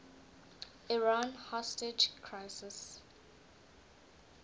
iran hostage crisis